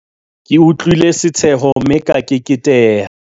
ke utlwile setsheho mme ka keketeha